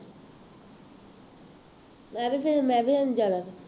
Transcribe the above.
ਤਾਂ ਤਾਂ ਫੇਰ ਮੈਂ ਵੀ ਨਹੀਂ ਜਾਣਾ